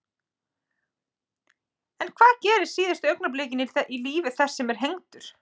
En hvað gerist síðustu augnablikin í lífi þess sem er hengdur?